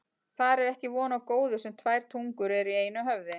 Þar er ekki von á góðu sem tvær tungur eru í einu höfði.